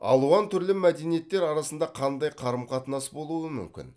алуан түрлі мәдениеттер арасында қандай қарым қатынас болуы мүмкін